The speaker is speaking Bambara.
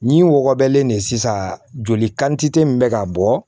Ni wɔkɔbɛlen de sisan joli kantite min bɛ ka bɔ